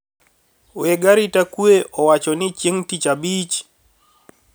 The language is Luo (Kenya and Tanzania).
Weg arita kwe owacho ni chieng` Tich Abich.